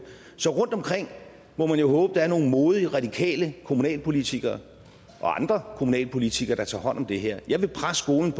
så rundtomkring må man jo håbe der er nogle modige radikale kommunalpolitikere og andre kommunalpolitikere der tager hånd om det her jeg vil presse skolen